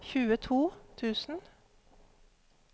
tjueto tusen